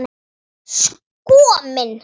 Sko minn!